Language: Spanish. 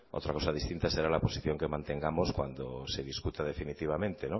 otra cosa distinta será la posición que mantengamos cuando se discuta definitivamente